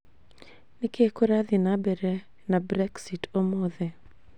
niki kũrathiĩe na mbere na Brexit ũmũthĩ